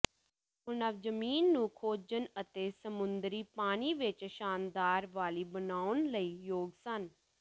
ਉਹ ਨਵ ਜ਼ਮੀਨ ਨੂੰ ਖੋਜਣ ਅਤੇ ਸਮੁੰਦਰੀ ਪਾਣੀ ਵਿੱਚ ਸ਼ਾਨਦਾਰ ਵਾਲੀ ਬਣਾਉਣ ਲਈ ਯੋਗ ਸਨ